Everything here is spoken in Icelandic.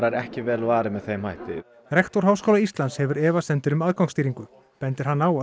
er ekki vel varið með þeim hætti rektor Háskóla Íslands hefur efasemdir um aðgangsstýringu bendir hann á að